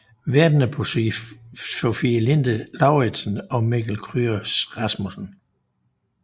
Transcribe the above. Værterne var Sofie Linde Lauridsen og Mikkel Kryger Rasmussen